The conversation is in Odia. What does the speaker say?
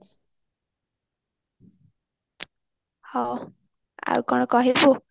ହଁ ଆଉ କଣ କହିବୁ